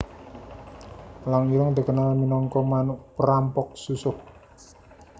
Elang ireng dikenal minangka manuk prampok susuh